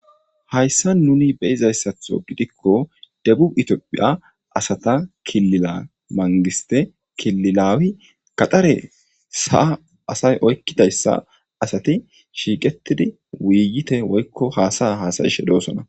hayssa nuni be'izayssatho gidikko debu itophiya asata kilila mangiste kililawi gaxare saa asay oykkidayssa asati shiiqetidi wuiyite woykko haasaya haasa'ishe doosona